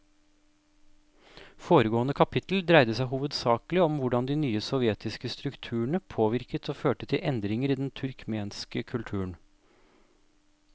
Foregående kapittel dreide seg hovedsakelig om hvordan de nye sovjetiske strukturene påvirket og førte til endringer i den turkmenske kulturen.